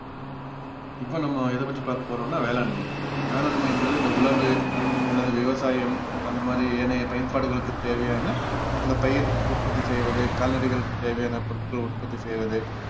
இப்போ நம்ம எதை பத்தி பாக்க போறோம்னா வேளாண்மை வேளாண்மைன்றது இந்த உழவு அல்லது விவசாயம் அந்தமாதிரி ஏனைய பயன்பாடுகளுக்கு தேவையான அந்த பயிர் உற்பத்தி செய்வது கால்நடைகளுக்கு தேவையான பொருட்களை உற்பத்தி செய்வது